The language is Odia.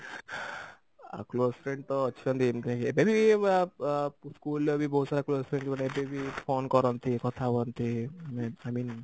ଆଉ close friend ତ ଅଛନ୍ତି ଏମତି ରେ ଏବେ ବି ଆ school ରେ ବି ବହୁତ ସାରା close friend ମୋର ଏବେ ବି phone କରନ୍ତି କଥା ହୁଅନ୍ତି i mean